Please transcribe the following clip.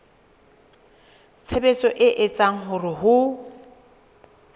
tshebetso e etsang hore ho